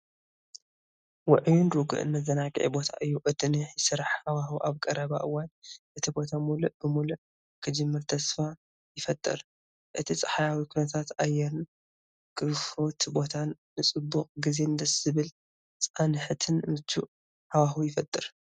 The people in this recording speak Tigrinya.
ውዑይን ርጉእን መዘናግዒ ቦታ እዩ! እቲ ናይ ስራሕ ሃዋህው ኣብ ቀረባ እዋን እቲ ቦታ ምሉእ ብምሉእ ክጅምር ተስፋ ይፈጥር! እቲ ጸሓያዊ ኩነታት ኣየርን ክፉት ቦታን ንጽቡቕ ግዜን ደስ ዘብል ጻንሖትን ምቹእ ሃዋህው ይፈጥር።